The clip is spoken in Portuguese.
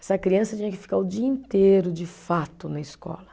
Essa criança tinha que ficar o dia inteiro, de fato, na escola.